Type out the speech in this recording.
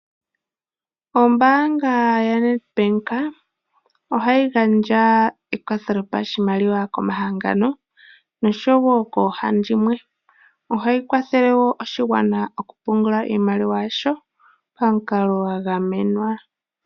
Ombaanga yaNedbank ohayi gandja ekwatho lyopashimaliwa ko ma hangano nosho wo koohandimwe, ohayi kwathele woo oshigwana oku pungula iimaliwa yasho pamukalo gwa gamenwa.